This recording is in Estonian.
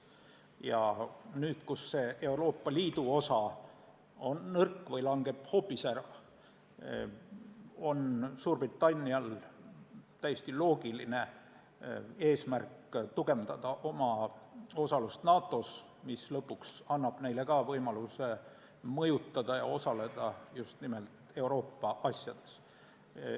Ja nüüd, kus Euroopa Liidu osa on nõrk või langeb hoopis ära, on Suurbritannial täiesti loogiline eesmärk tugevdada oma osalust NATO-s, mis lõpuks annab neile võimaluse mõjutada ja osaleda just nimelt Euroopa asjades.